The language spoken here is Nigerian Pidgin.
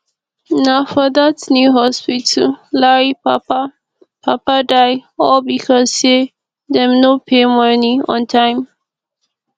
na for dat new hospital larry papa papa die all because say dem no pay money on time